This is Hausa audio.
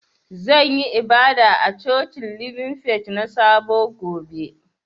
Zan yi ibada a cocin Living Faith na sabo gobe.